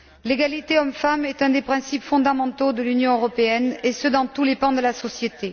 L'égalité hommes femmes est un des principes fondamentaux de l'Union européenne, et ce dans tous les pans de la société.